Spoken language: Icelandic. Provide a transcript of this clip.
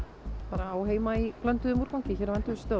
á heima í blönduðum úrgangi hérna